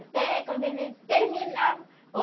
Até quando a gente terminava.